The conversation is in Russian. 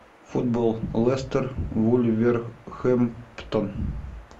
футбол лестер вулверхэмптон